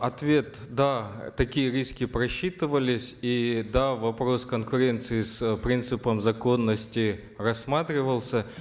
ответ да такие риски просчитывались и да вопрос конкуренции с принципом законности рассматривался